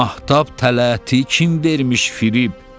Mahtab tələti kim vermiş firib?